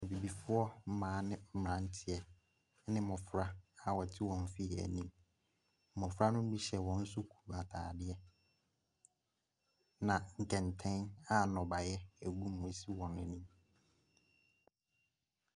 Abibifoɔ mmaa ne mmeranteɛ ne mmɔfra a wɔte wɔn fie anim. Mmɔfra no bi hyɛ wɔn sukuu ntadeɛ, ɛnna nkɛntɛn a nnɔbaeɛ gum sisi wɔn anim.